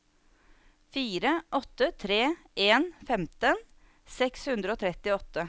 fire åtte tre en femten seks hundre og trettiåtte